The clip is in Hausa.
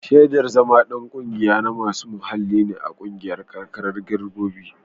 Shaidar zama ɗan ƙungiya na masu muhalli ne a ƙungiyar karkarar girinbirok.